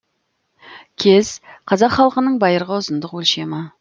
кез қазақ халқының байырғы ұзындық өлшемі